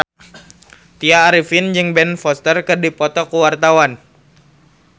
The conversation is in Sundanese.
Tya Arifin jeung Ben Foster keur dipoto ku wartawan